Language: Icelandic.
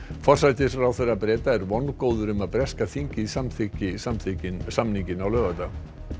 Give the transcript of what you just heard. forsætisráðherra Breta er vongóður um að breska þingið samþykki samþykki samninginn á laugardag